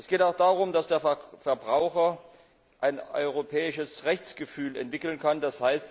Es geht auch darum, dass der Verbraucher ein europäisches Rechtsgefühl entwickeln kann, d.